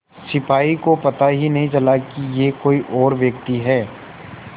सिपाही को पता ही नहीं चला कि यह कोई और व्यक्ति है